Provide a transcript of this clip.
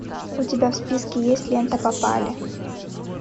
у тебя в списке есть лента попали